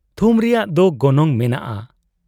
ᱛᱷᱩᱢ ᱨᱮᱭᱟᱜ ᱫᱚ ᱜᱚᱱᱚᱝ ᱢᱮᱱᱟᱜ ᱟ ᱾